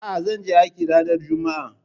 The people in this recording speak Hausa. A'a, zanje aikin ranar juma'a